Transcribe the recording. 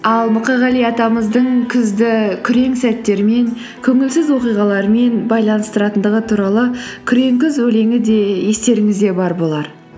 ал мұқағали атамыздың күзді күрең сәттермен көңілсіз оқиғалармен байланыстыратындығы туралы күрең күз өлеңі де естеріңізде бар болар